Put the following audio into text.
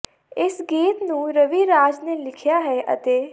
ਇਸ ਗੀਤ ਨੂੰ ਰਵੀ ਰਾਜ ਨੇ ਲਿਖਿਆ ਹੈ ਅਤੇ